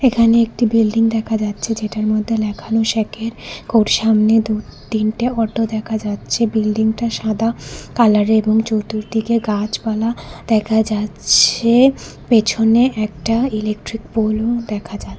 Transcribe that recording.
এখানে একটি বিল্ডিং দেখা যাচ্ছে যেটার মধ্যে লেখানো সেকের ওর সামনে দু'তিনটে অটো দেখা যাচ্ছে বিল্ডিংটা সাদা কালারের এবং চতুর্দিকে গাছপালা দেখা যাচ্ছে পিছনে একটা ইলেকট্রিক পোলও দেখা যা --